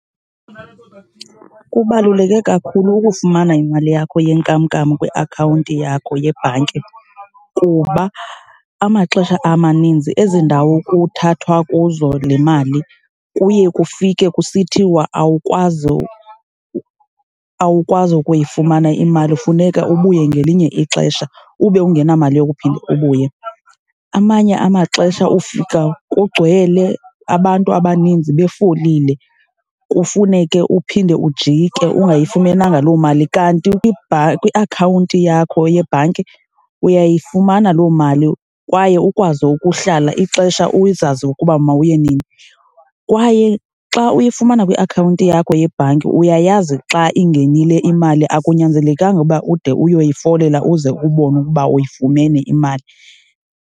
Kubaluleke kakhulu ukufumana imali yakho yenkamnkam kwiakhawunti yakho yebhanki kuba amaxesha amaninzi ezi ndawo kuthathwa kuzo le mali kuye kufike kusithiwa awukwazi awukwazi ukuyifumana imali funeka ubuye ngelinye ixesha ube ungenamali yokuphinda ubuye. Amanye amaxesha ufika kugcwele abantu abaninzi befolile, kufuneke uphinde ujike ungayifumenanga loo mali. Kanti kwiakhawunti yakho yebhanki uyayifumana loo mali kwaye ukwazi ukuhlala ixesha uzazi ukuba mawuye nini. Kwaye xa uyifumana kwiakhawunti yakho yebhanki, uyayazi xa ingenile imali akunyanzelekanga ukuba ude uyoyifolela uze kubonwe ukuba uyifumene imali.